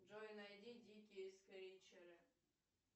джой найди дикие скричеры